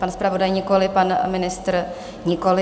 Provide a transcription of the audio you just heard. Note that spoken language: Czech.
Pan zpravodaj nikoli, pan ministr nikoli.